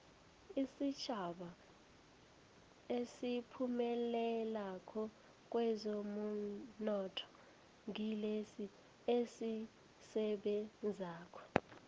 isitjhaba esiphumelelako kwezomnotho ngilesi esisebenzako